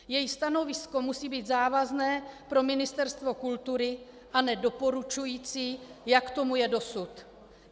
Její stanovisko musí být závazné pro Ministerstvo kultury a ne doporučující, jak tomu je dosud.